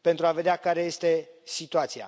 pentru a vedea care este situația.